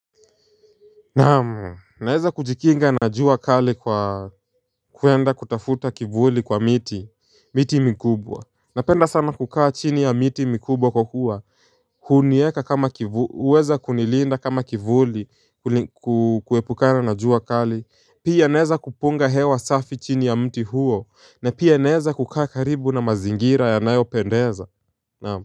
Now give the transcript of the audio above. Naeza kujikinga na jua kali kwa kuenda kutafuta kivuli kwa miti miti mikubwa Napenda sana kukaa chini ya miti mikubwa kwakua Kunieka kama kivu uweza kunilinda kama kivuli kuepukana na jua kali Pia naeza kupunga hewa safi chini ya mti huo na pia naeza kukaa karibu na mazingira yanayopendeza naam.